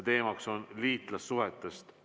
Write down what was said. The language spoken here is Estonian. Teemaks on liitlassuhted.